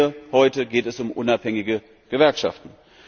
Hier, heute geht es um unabhängige Gewerkschaften.